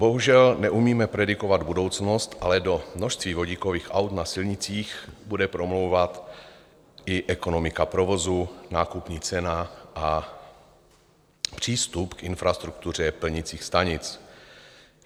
Bohužel neumíme predikovat budoucnost, ale do množství vodíkových aut na silnicích bude promlouvat i ekonomika provozu, nákupní cena a přístup k infrastruktuře plnicích stanic.